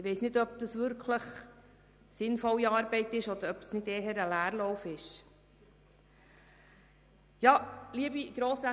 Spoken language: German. Ich weiss nicht, ob es sich dabei wirklich um sinnvolle Arbeit handeln würde, oder ob es nicht eher ein Leerlauf wäre.